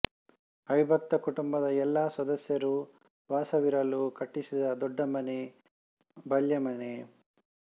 ಅವಿಭಕ್ತ ಕುಟುಂಬದ ಎಲ್ಲಾ ಸದಸ್ಯರೂ ವಾಸವಿರಲು ಕಟ್ಟಿಸಿದ ದೊಡ್ಡಮನೆ ಬಲ್ಯಮನೆ